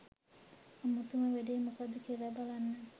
අමුතුම වැඩේ මොකද්ද කියල බලන්න